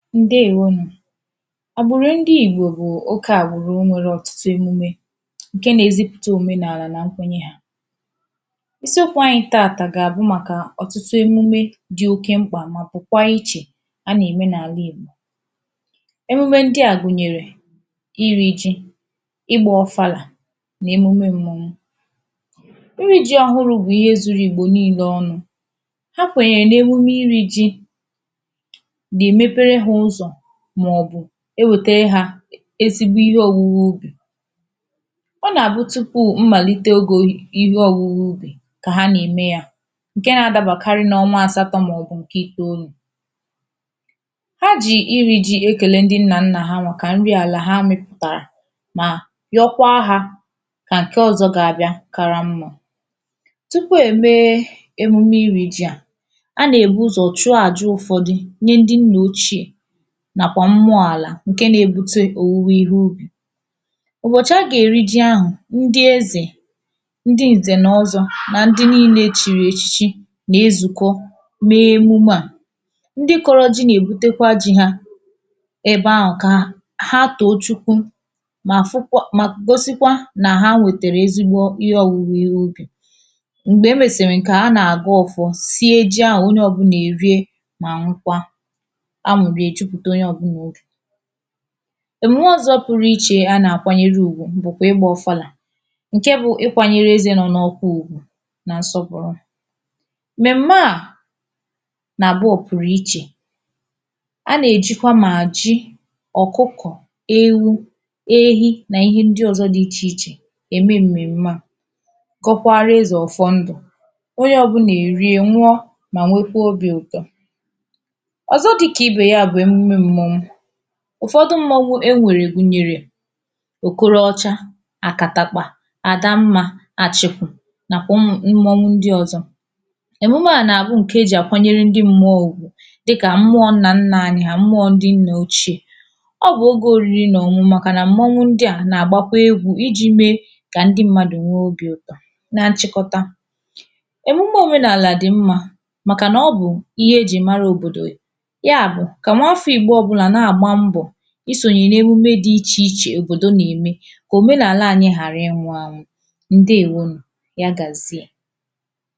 ǹdeèwo nụ̀ agbụ̀rụ̀ ndị ìgbò bụ̀ oke àgbụ̀rụ nwērē ọtụtụ emume ǹke nā-ēzipùte òmenàlà nà nkwenye hā isi okwū anyị̄ taàtà gà-àbụ màkà ọ̀tụtụ emume dị̄ oke mkpà mà pụ̀kwa ichè a nà-ème n’àla ìgbò emume ndị à gụ̀nyèrè irī jī, ịgbā ụfalà nà emume m̄mọ̄wū irī jī ọhụrụ̄ bụ̀ ihe zūrū ìgbò niīnē ọnụ̄ ha kwènyè n’emume irī jī nà-èmepere hā ụzọ̀ màọ̀bụ̀ ewètere hā ezigbo ihe ōwūwū ubì ọ nà-àbụ tụpụ mmàlite ogē ihe ọ̄wụ̄wụ̄ ubì kà ha nà-ème yā ǹke nā-ādābàkarị n’ọnwa àsatọ̄ màọ̀bụ̀ ǹke ìteōlū, ha jì irī jī ekèle ndị nnànnà ha màkà nri àlà ha mị̄pụ̀tàrà mà nyọkwa hā kà ǹke ọ̄zọ̄ ga-abịa kara mmā tụpụ ème emume irī ji à a nà-èbu ụzọ̀ chụọ àja ụ̄fọ̄dụ̄ nyee ndị nnà ocheè nàkwà mmụọ àlà ǹke nā-ēbūtē òwuwe ihe ubì ụ̀bọ̀chị̀ ha gà-èri ji ahụ̀ ndị ezè ndị ǹzènọzọ̄ nà ndị niīnē echìrì èchichi na-ezùkọ mee emume à ndị kọ̄rọ̄ jī nà-èbutekwa jī hā ebe ahụ̀ kà ha tòo chukwu mà fụkwa mà gosikwa nà ha nwètèrè ezigbo ihe ọ̀wụwụ ihe ubì m̀gbè emèsìrì ǹke à ha nà-àga ụ̀fọ sie ji ahụ̀ onye ọ̄bụ̄nà èrie mà ñụkwa añụ̀rị èjupùte onye ọ̄bụ̄nà obì èmùme ọ̄zọ̄ pụrụ ichè a nà-àkwanyere ùgwù bụ̀kwà ịgbā ụfalà ǹke bụ̄ ịkwānyērē ezē nọọ n’ọkpụ ùgwù nà nsọpụ̀rụ m̀mèm̀me à nà-àbụ ọ̀pụ̀rụ̀ ichè a nà-èjikwa mà ji ọ̀kụkụ̀ ewu ehi nà ihe ndị ọ̄zọ̄ dị ichè ichè ème m̀mèm̀me à kọkwara ezè ọ̀fọ ndụ̀ onye ọ̄bụ̄nà èrie ñụọ mà nwekwe obī ụ̀tọ̀ ọ̀zọ dị̄kà ibè ya bụ̀ emume mmọ̄wū ụ̀fọdụ mmọ̄wū enwèrè gụ̀nyèrè òkoro ọcha, àkàtàkpà, àda mmā, àchị̀kụ̀ nàkwà ụmụ̀ mmọwu ndị ọ̄zọ̄ èmume à nà-àbụ ǹkè ejì àkwanyere ndị m̄mụọ̄ ùgwù dịkà mmụọ̄ nnànnà anyị̄ hà mmụọ̄ ndị nnà ocheè ọ bụ̀ ogē òriri nà ọ̀ñụñụ màkànà mmọwụ ndị à nà-àgbakwa egwū ijī meē kà ndị m̄mādụ̀ nwee obī ụ̀tọ̀ na nchịkọta èmume òmenàlà dị̀ mmā màkànà ọ bụ̀ ihe ejì mara òbòdò ya bụ̀ kà nwafọ̄ ìgbo ọ̄bụ̀là na-àgba mbọ̀ isònyè n’emume dị̄ ichè ichè òbòdo nà-ème kà òmenàla ānyị̄ ghàra ịnwụ̄ ānwụ̄ ǹdeèwo nụ̀, ya gàzie.